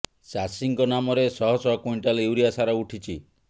ଚାଷୀଙ୍କ ନାମରେ ଶହ ଶହ କୁଇଣ୍ଟାଲ ୟୁରିଆ ସାର ଉଠିଛି